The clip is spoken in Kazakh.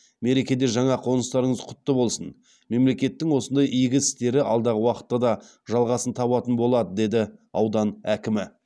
мерекеде жаңа қоныстарыңыз құтты болсын мемлекеттің осындай игі істері алдағы уақытта да жалғасын табатын болады деді аудан әкімі